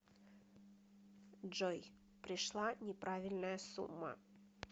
джой пришла неправильная сумма